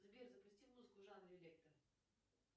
сбер запусти музыку в жанре электро